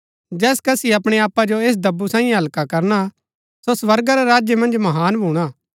जैस कसी अपणै आपा जो ऐस दब्बु साईयें हल्का करणा सो स्वर्गा रै राज्य मन्ज महान भूणा